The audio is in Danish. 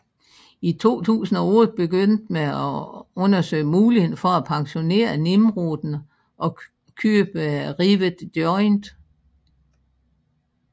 I 2008 begyndte man at undersøge muligheden for at pensionere Nimroden og købe Rivet Joint